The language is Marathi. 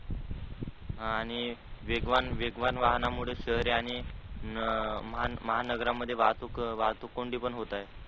हा आणि वेगवान, वेगवान वाहनामुळे शहरे आणि महा नगरामध्ये वाहतूक, वाहतूक कोंडी पण होत आहे.